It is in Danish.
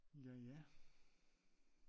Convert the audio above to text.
Jaja